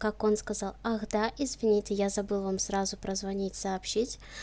как он сказал ах да извините я забыл вам сразу прозвонить сообщить